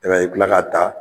i bi kila ka taa